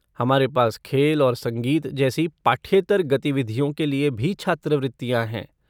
हमारे पास खेल और संगीत जैसी पाठ्येतर गतिविधियों के लिए भी छात्रवृत्तियाँ हैं।